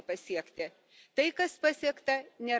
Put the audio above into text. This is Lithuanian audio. Tai, kas pasiekta, nėra kompromisas.